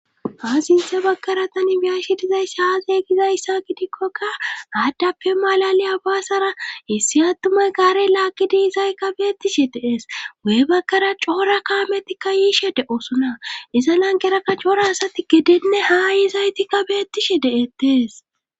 Ha sintha bagkara tani biyashi dizayssi haazeeygizayssa gidikkoka aaddappe malaliya baasara issi attumay gaare laakkidiizaykka beettishe dees wee bagkara coora kaametikka yiishe de7osuna iza lankera ka coora asati gidinne haa yiizaytikka beettishe de7ettees.